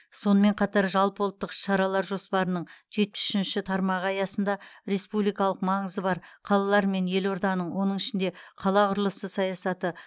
сонымен қатар жалпыұлттық іс шаралар жоспарының жетпіс үшінші тармағы аясында республикалық маңызы бар қалалар мен елорданың оның ішінде қала құрылысы саясаты